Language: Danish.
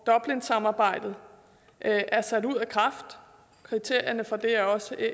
dublinsamarbejdet er er sat ud af kraft og kriterierne for det er også